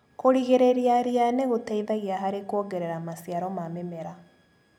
Kũrigĩrĩria ria nĩgũteithagia harĩ kuongerera maciaro ma mĩmera.